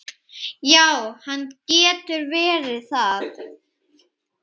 Já, hann getur verið það.